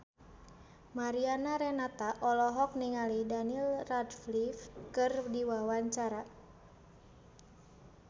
Mariana Renata olohok ningali Daniel Radcliffe keur diwawancara